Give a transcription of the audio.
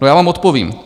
No já vám odpovím.